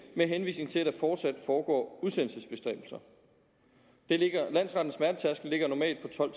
med henvisning til at der fortsat foregår udsendelsesbestræbelser landsrettens smertetærskel ligger normalt på tolv